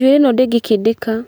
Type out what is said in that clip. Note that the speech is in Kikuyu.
Njuĩrĩ ĩ no ndĩngĩkĩndĩka.